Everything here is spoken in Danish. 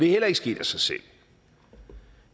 heller ikke sket af sig selv